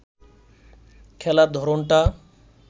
খেলার ধরনটা